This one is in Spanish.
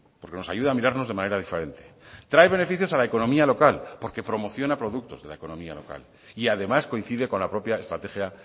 porque nos ayuda a mirarnos de manera diferente trae beneficios a la economía local porque promociona productos de la economía local y además coincide con la propia estrategia